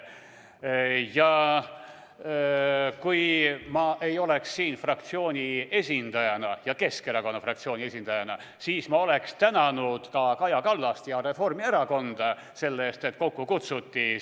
Ja kui ma ei oleks siin Keskerakonna fraktsiooni esindajana, siis ma tänaksin ka Kaja Kallast ja Reformierakonda, et sellisel teemal arutelu kokku kutsuti.